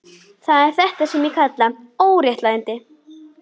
Það er þetta sem ég kalla óréttlæti.